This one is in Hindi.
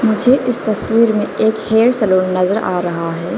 मुझे इस तस्वीर में एक हेयर सैलून नजर आ रहा है।